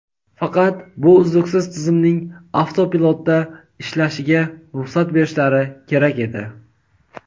Faqat bu uzluksiz tizimning avtopilotda ishlashiga ruxsat berishlari kerak edi.